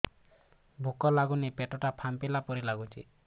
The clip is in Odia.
ଭୁକ ଲାଗୁନି ପେଟ ଟା ଫାମ୍ପିଲା ପରି ନାଗୁଚି